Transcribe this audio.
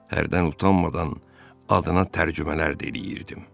Hərdən utanmadan adına tərcümələr də eləyirdim.